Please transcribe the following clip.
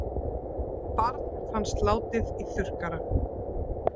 Barn fannst látið í þurrkara